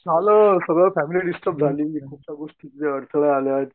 झालं सगळी family disturb झाली. गोष्टीत अडथळे आलेत.